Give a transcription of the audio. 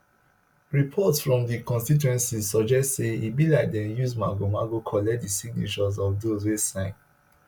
reports from di constituency suggest say e be like dem use magomago collect di signatures of those wey sign